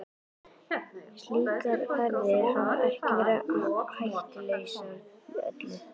Slíkar ferðir hafa ekki verið hættulausar með öllu.